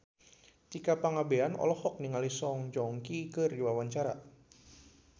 Tika Pangabean olohok ningali Song Joong Ki keur diwawancara